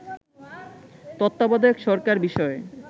তত্ত্বাবধায়ক সরকার বিষয়ে